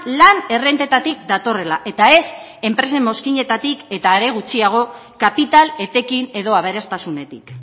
lan errentetatik datorrela eta ez enpresen mozkinetatik eta are gutxiago kapital etekin edo aberastasunetik